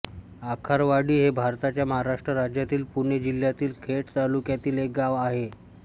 आखारवाडी हे भारताच्या महाराष्ट्र राज्यातील पुणे जिल्ह्यातील खेड तालुक्यातील एक गाव आहे